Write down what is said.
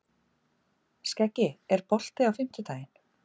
Skeggi, er bolti á fimmtudaginn?